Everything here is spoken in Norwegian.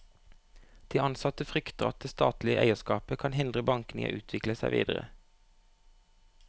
De ansatte frykter at det statlige eierskapet kan hindre bankene i å utvikle seg videre.